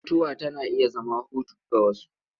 Mutuwa tana iya zama hutu ga wasu.